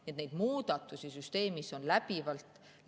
Nii et neid muudatusi süsteemis on läbivalt.